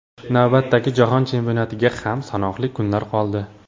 Navbatdagi Jahon Chempionatiga ham sanoqli kunlar qoldi.